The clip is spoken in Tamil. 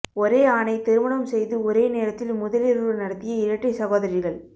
ஒரே ஆணை திருமணம் செய்து ஒரே நேரத்தில் முதலிரவு நடத்திய இரட்டை சகோதரிகள்